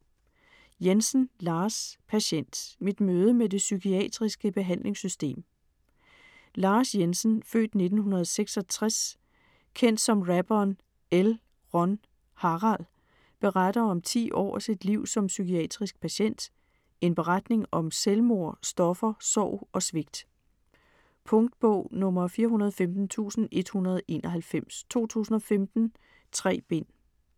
Jensen, Lars: Patient: mit møde med det psykiatriske behandlingssystem Lars Jensen (f. 1966), kendt som rapperen L:Ron:Harald, beretter om ti år af sit liv som psykiatrisk patient, en beretning om selvmord, stoffer, sorg og svigt. Punktbog 415191 2015. 3 bind.